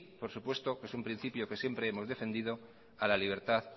por supuesto que es un principio que siempre hemos defendido a la libertad